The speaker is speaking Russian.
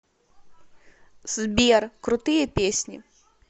сбер крутые песни